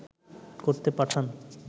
করতে পাঠান